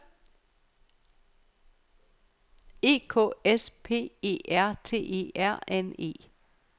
E K S P E R T E R N E